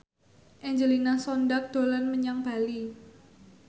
Angelina Sondakh dolan menyang Bali